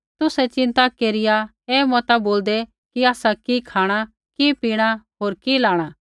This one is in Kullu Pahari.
तुसै चिन्ता केरिया ऐ मता बोलदै कि आसा कि खाँणा कि पीणा होर कि लाणा